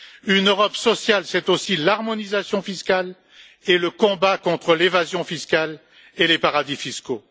Une Europe sociale, c'est aussi l'harmonisation fiscale et le combat contre l'évasion fiscale et les paradis fiscaux.